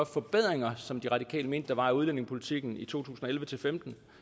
forbedringer som de radikale mente der var i udlændingepolitikken i to tusind og elleve til femten